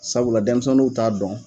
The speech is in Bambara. Sabula denmisɛnnuw t'a dɔn